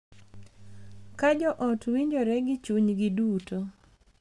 Ka jo ot winjore gi chunygi duto,